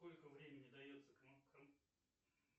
сколько времени дается